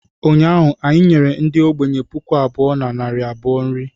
Ụnyaahụ anyị nyere ndị ogbenye puku abụọ na narị abụọ nri